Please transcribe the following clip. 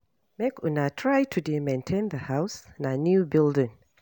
Make una try to dey maintain the house na new building.